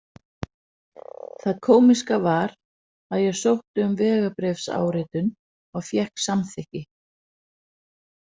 Það kómíska var að ég sótti um vegabréfsáritun og fékk samþykki.